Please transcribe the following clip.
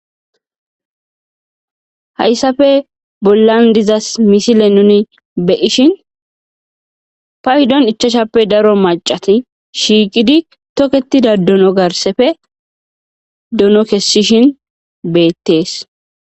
hayssafe bollan dizas misile nuni beyishin fa hidon ichashappe daro macati shiiqidi tokettida dono garsefe dono kessishin beettees